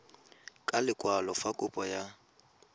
ka lekwalo fa kopo ya